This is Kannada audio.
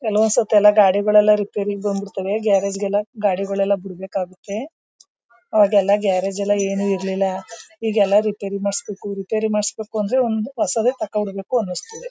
ಕೆಲವಸತಿ ಎಲ್ಲ ಗಾಡಿಗಲ್ಲೆಲ್ಲ ರಿಪೈರಿ ಬಂದ್ಬಿಡುತ್ತವೆ ಗರಾಜುಗೆಲ್ಲ ಗಾಡಿನ ಬಿಡ್ಬೇಕಾಗುತೆ ಅವಾಗೆಲ್ಲ ಗ್ಯಾರೇಜು ಏನು ಇರ್ಲಿಲ್ಲ ಈಗೆಲ್ಲ ರಿಪೈರಿ ಮಾಡ್ಸಬೇಕು ರಿಪೈರಿ ಮಾಡ್ಸಬೇಕು ಅಂದ್ರೆ ಒಂದ್ ಹೊಸಾದೆ ತಗೋಬೇಕು ಅಂಸ್ಥತೆ.